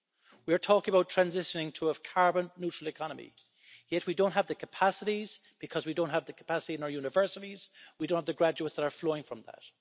We are talking about transitioning to a carbon neutral economy yet we don't have the capacities because we don't have the capacity in our universities and we don't have the graduates that are flowing from that.